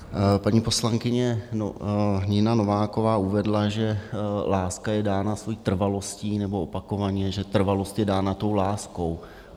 Paní poslankyně Nina Nováková uvedla, že láska je dána svoji trvalostí nebo opakovaně, že trvalost je dána tou láskou.